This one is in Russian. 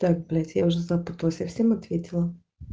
так блять я уже запуталась я всем ответила